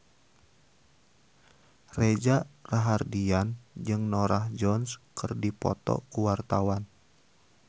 Reza Rahardian jeung Norah Jones keur dipoto ku wartawan